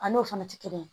A n'o fana tɛ kelen ye